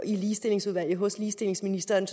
i ligestillingsudvalget hos ligestillingsministeren